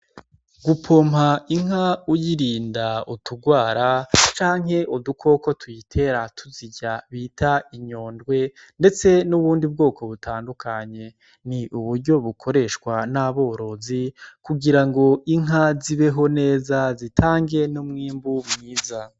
Gupompa inka uyirinda utugwara canke udukoko tuyitera tuzirya bita inyondwe, ndetse nubundi bwoko butandukanye, ni uburyo bukoreshwa n'aborozi kugira ngo inka zibeho neza, zitange n'umwimbu mwiza.